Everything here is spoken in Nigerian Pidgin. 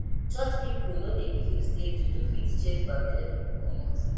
church pipu no dey beliv sey juju fit chase bad belle pipu comot